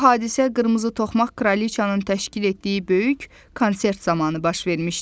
Bu hadisə qırmızı toxmaq kraliçanın təşkil etdiyi böyük konsert zamanı baş vermişdi.